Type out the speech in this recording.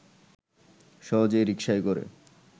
সহজেই রিকশায় করে